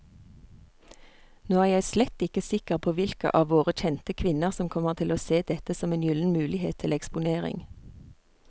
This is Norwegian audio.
Nå er jeg slett ikke sikker på hvilke av våre kjente kvinner som kommer til å se dette som en gyllen mulighet til eksponering.